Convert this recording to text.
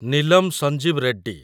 Neelam Sanjiva Reddy